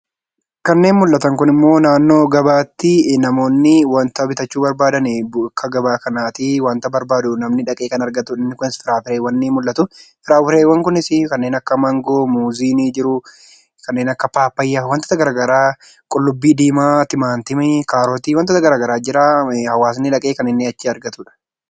Kanneen mul'atan kunimmoo naannoo gabaatti namoonni wanta bitachuu barbaadan bakka gabaa kanaatii wanta barbaadu namni dhaqee kan argatu firiiwwan ni mul'atu. Fireewwan kunis kanneen akka maangoo, muuzii ni jiru, kanneen akka pappaayaa, qulluubbii diimaa, timaatimii, kaarotii wantoota garaagaraatu jira. Hawaasni dhaqee kan inni achii argatuudha.